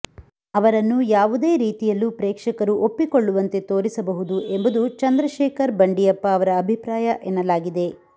ಅವರನ್ನು ಯಾವುದೇ ರೀತಿಯಲ್ಲೂ ಪ್ರೇಕ್ಷಕರು ಒಪ್ಪಿಕೊಳ್ಳುವಂತೆ ತೋರಿಸಬಹುದು ಎಂಬುದು ಚಂದ್ರಶೇಖರ್ ಬಂಡಿಯಪ್ಪ ಅವರ ಅಭಿಪ್ರಾಯ ಎನ್ನಲಾಗಿದೆ